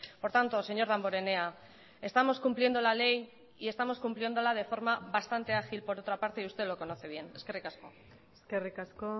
por tanto señor damborenea estamos cumpliendo la ley y estamos cumpliéndola de forma bastante ágil por otra parte y usted lo conoce bien eskerrik asko eskerrik asko